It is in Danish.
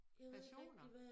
Personer